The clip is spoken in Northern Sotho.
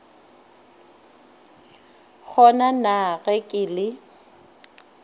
kgona na ge ke le